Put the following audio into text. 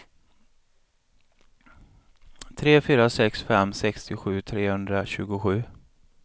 tre fyra sex fem sextiosju trehundratjugosju